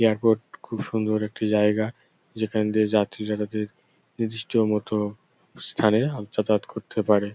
Airport খুব সুন্দর একটি জায়গা। যেখান দিয়ে যাত্রীরা তাদের নির্দিষ্ট মত স্থানে জাতায়ত করতে পারে।